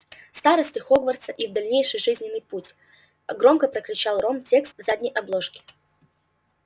старосты хогвартса их дальнейший жизненный путь громко прокричал рон текст задней обложки